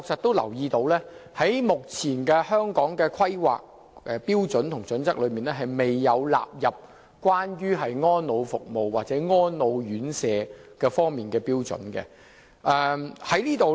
第一，目前《規劃標準》確實未有納入安老服務或安老院舍方面的標準。